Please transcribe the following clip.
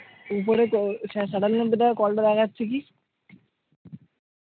উপরে কলটা দেখা যাচ্ছে কি?